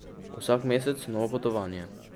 Vsak mesec novo potovanje.